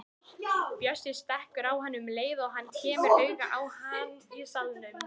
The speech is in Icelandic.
Bjössi stekkur á hann um leið og hann kemur auga á hann í salnum.